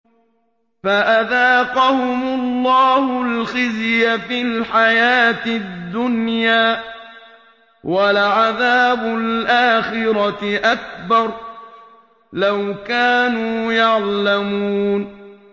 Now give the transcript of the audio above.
فَأَذَاقَهُمُ اللَّهُ الْخِزْيَ فِي الْحَيَاةِ الدُّنْيَا ۖ وَلَعَذَابُ الْآخِرَةِ أَكْبَرُ ۚ لَوْ كَانُوا يَعْلَمُونَ